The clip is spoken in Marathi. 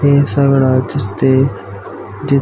ते सगळ दिसते ते --